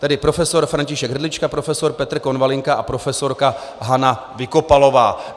Tedy profesor František Hrdlička, profesor Petr Konvalinka a profesorka Hana Vykopalová.